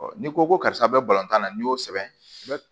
n'i ko ko karisa bɛ tan na n'i y'o sɛbɛn i bɛ